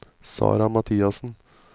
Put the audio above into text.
Sarah Mathiassen